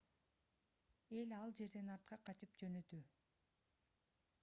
эл ал жерден артка качып жөнөдү